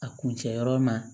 A kuncɛ yɔrɔ ma